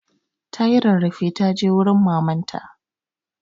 Ta yi rarrafe ta je wurin maman ta.